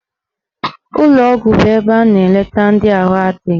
Ụlọgwụ bụ ebe a na-eleta ndị ahụ adịghị.